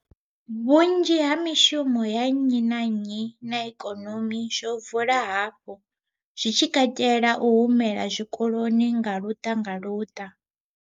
Vhunzhi ha mishumo ya nnyi na nnyi na ikonomi zwo vula hafhu, zwi tshi katela u humela zwikoloni nga luṱa nga luṱa.